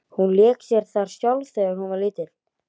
Hún lék sér þar sjálf þegar hún var lítil.